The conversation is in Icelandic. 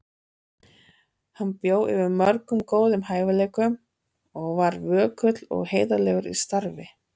Hann bjó yfir mörgum góðum hæfileikum og var vökull og heiðarlegur í starfi.